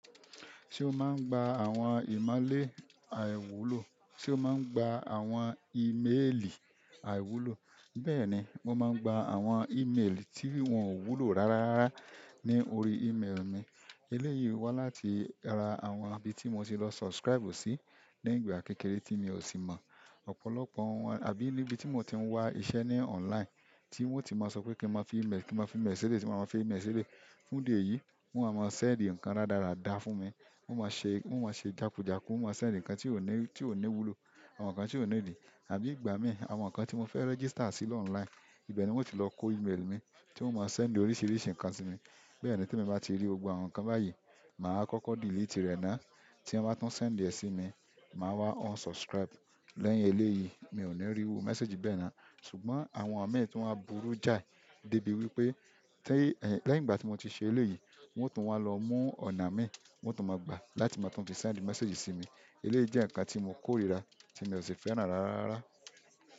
Se oma gba àwọn imole aiwulo? Ṣé ó máa ń gba àwọn íméèlì àìwúlò? Bẹ́ẹ̀ni, mo máa ń gba àwọn email tí wọ́n ò wúlò rárárara ní orí email mi. Eléyìí wá láti ara àwọn ibi tí mo ti lọ subscribe sí ní ìgbà kékeré tí mi ò sì mọ̀. Ọ̀pọ̀lọpọ̀ àbí nibi ti n moti wa iṣẹ́ ni online ti won ti maa sope ki maa fi email si eleyi ti maa a maa fi email si eleyi. Fún ìdí èyí, wọ́n á máa seǹd ǹkan rádarada fún mi. Wọ́n máa ṣe, wọ́n máa ṣe jàkújàkú, wọ́n máa send ǹkan tí ò ní, tí ò ní wúlò, àwọn ǹkan tí ò ní ìdí. Àbí ìgbà mí, àwọn ǹkan tí mo fẹ́ register sí ló online, ibẹ̀ ni wọ́n ti lọ kó íméèlì mi tí wọ́n máa send oríṣiríṣi ǹkan sí mi. Bẹ́ẹ̀ ni tí mo bá ti ri gbogbo àwọn ǹkan báyìí, mà á kọ́kọ́ delete rẹ̀ ná. Tí wọ́n bá tún sẹ̀ǹ rẹ̀ sí mi, mà á wá unsubscribe. Lẹ́yìn eléyìí, mi ò ní iru message bẹ́ẹ̀ ná. Ṣùgbọ́n àwọn miì tun wa burú jáì dé ibi wípé tí, lẹ́yìn ìgbà tí mo ti ṣe eléyìí, wọ́n tún wá lọ mú ọ̀nà mi, wọ́n tún máa gbà láti máa tún fi send message sí mi. Eléyìí jẹ́ ǹkan tí mo kórìíra tí mi ò sì fẹ́ràn rárá.